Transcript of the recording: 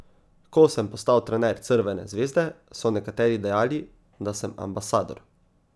Ko sem postal trener Crvene zvezde, so nekateri dejali, da sem ambasador.